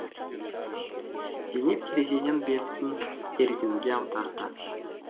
зейнеп терезеден бетін ерденге аударды